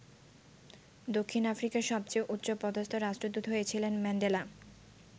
দক্ষিণ আফ্রিকার সবচেয়ে উচ্চপদস্থ রাষ্ট্রদূত হয়েছিলেন ম্যান্ডেলা।